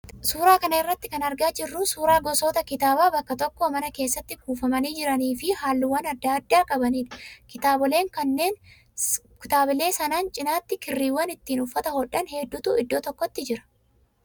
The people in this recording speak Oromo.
Suuraa kana irraa kan argaa jirru suuraa gosoota kitaabaa bakka tokko mana keessatti kuufamanii jiranii fi halluuwwan adda addaa qabanidha. Kitaabolee sanaan cinaatti kirriiwwan ittiin uffata hodhan hedduutu iddoo tokko jira.